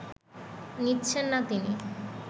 নিচ্ছেন না তিনি